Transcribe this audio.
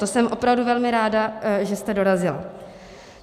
To jsem opravdu velmi ráda, že jste dorazila.